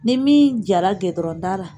Ni min jara gɛdɔrɔnda la